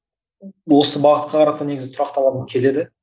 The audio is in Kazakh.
осы бағытқа қарата негізі тұрақталғым келеді